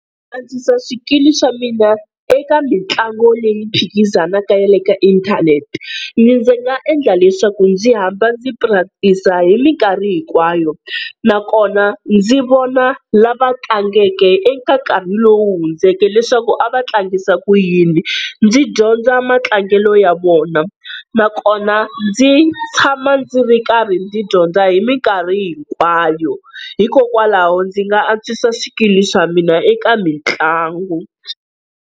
Ku antswisa swikili swa mina eka mitlangu leyi phikizanaka ya le ka inthanete, ndzi nga endla leswaku ndzi hamba ndzi practice-a hi minkarhi hinkwayo, nakona ndzi vona lava tlangekeke eka nkarhi lowu hundzeke leswaku a va tlangisa ku yini, ndzi dyondza matlangelo ya vona. Nakona ndzi tshama ndzi ri karhi ndzi dyondza hi minkarhi hinkwayo hikokwalaho ndzi nga antswisa swikili swa mina eka mitlangu.